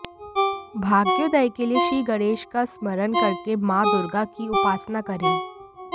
भाग्योदय के लिए श्री गणेश का स्मरण करके माता दुर्गा की उपासना करें